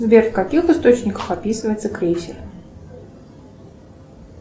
сбер в каких источниках описывается крейсер